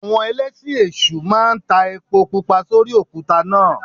Àwọn Ẹlẹ́sìn èṣù máa ta epo Pupa sórí òkúta náà.